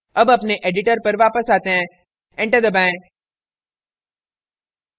अब अपने editor पर वापस आते हैं enter दबाएं